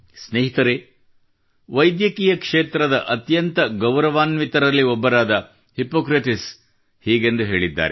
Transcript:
ಸ್ನೇಹಿತರೆ ವೈದ್ಯಕೀಯ ಕ್ಷೇತ್ರದ ಅತ್ಯಂತ ಗೌರವಾನ್ವಿತರಲ್ಲಿ ಒಬ್ಬರಾದ ಹಿಪ್ಪೊಕ್ರೇಟ್ಸ್ ಹೀಗೆಂದು ಹೇಳಿದ್ದಾರೆ